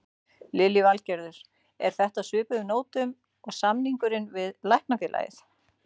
Lillý Valgerður: Er þetta á svipuðum nótum og samningurinn við Læknafélagið?